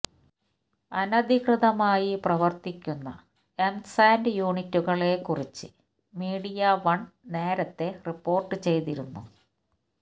അനധികൃതമായി പ്രവര്ത്തിക്കുന്ന M sand യൂണിറ്റുകളെ കുറിച്ച് മീഡിയവണ് നേരത്തെ റിപ്പോര്ട്ട് ചെയ്തിരുന്നു